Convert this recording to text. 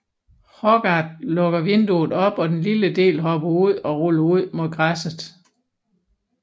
Hogarth lukker vinduet op og den lille del hopper ud og ruller ud mod græsset